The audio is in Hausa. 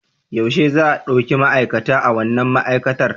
Yaushe za a ɗauki ma'aikata a wannan ma'aikatar?